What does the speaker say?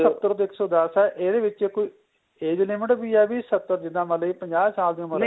ਸਤਰ ਤੋਂ ਇੱਕ ਸੋ ਦੱਸ ਏ ਇਹਦੇ ਵਿੱਚ ਕੋਈ age limit ਵੀ ਏ ਵੀ ਸਤਰ ਜਿੱਦਾ ਮੰਨ ਲੋ ਪੰਜਾਹ ਸਾਲ ਦੀ ਉਮਰ ਏ